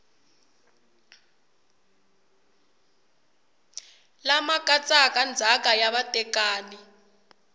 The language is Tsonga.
lama katsaka ndzhaka ya vatekani